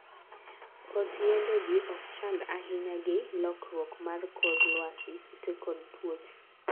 koth yiendegi okchand ahinya gi lokruok mar kor lwasi, kute kod tuoche